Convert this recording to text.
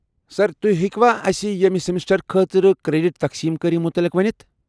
سر، تُہۍ ہیٚکوا اسِہ ییٚمہِ سیمسٹر خٲطرٕ کریڈٹ تقسیٖم کٲری متعلق ؤنتھ؟